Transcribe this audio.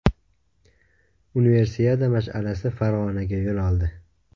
Universiada mash’alasi Farg‘onaga yo‘l oldi.